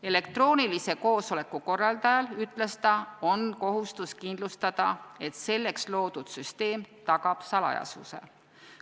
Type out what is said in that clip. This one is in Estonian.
Elektroonilise koosoleku korraldajal, ütles ta, on kohustus kindlustada, et selleks loodud süsteem tagab salajasuse.